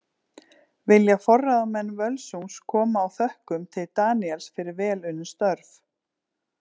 Vilja forráðamenn Völsungs koma á þökkum til Daníels fyrir vel unnin störf.